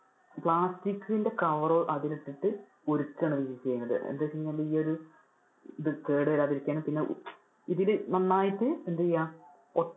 plastic ന്‍ടെ cover അതിൽ ഇട്ടിട്ട് ഉരുക്കുവാണ് അവര് ചെയ്യുന്നത്. എന്താന്ന് വെച്ച് കഴിഞ്ഞാൽ ഈ ഒരു ഇത് കേടു വരാതെ ഇരിക്കാനും പിന്നെ ഇതിൽ നന്നായിട്ട് എന്തീയാന്‍ ഒ~